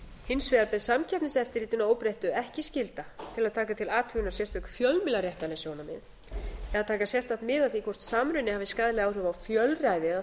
hins vegar ber samkeppniseftirlitinu að óbreyttu ekki skylda til að taka til athugunar sérstök fjölmiðlaréttarleg sjónarmið eða taka sérstakt mið af því hvort samruni hafi skaðleg áhrif á fjölræði eða